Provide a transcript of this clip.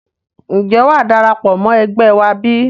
Ǹjẹ́ wàá darapọ̀ mọ́ ẹgbẹ́ wá bí?